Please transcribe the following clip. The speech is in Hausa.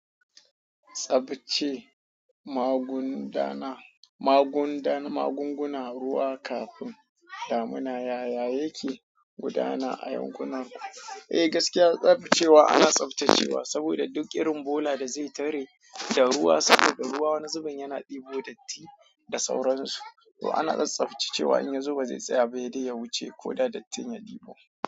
Tsaftace magunduna, magunguna ruwa kafin damina yaya yake gudana a yankunaku. Eh gaskiya tsaftacewa ana tsaftacewa saboda duk irin bola da zai tare da ruwa saboda ruwa wani zuben yana ɗebo datti da sauransu to ana tsaftacewa in ya zo ba zai tsaya sai dai ya wuce koda dattin ya ɗebo.